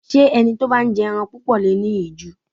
Ṣé ẹni tó bá ń jẹ ẹran púpọ̀ le è ní ìju?